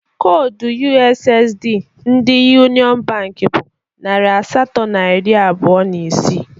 Koodu ussd ndi Yuniọn bank bụ narị asatọ na iri abụọ na isii